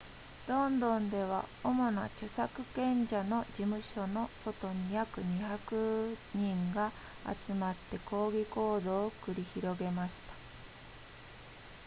ロンドンでは主な著作権者の事務所の外に約200人が集まって抗議行動を繰り広げました